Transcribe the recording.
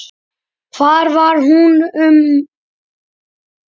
Hvar var hún mótuð?